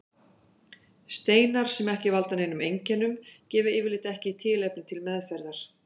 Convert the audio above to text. Steinar sem ekki valda neinum einkennum gefa yfirleitt ekki tilefni til meðferðar.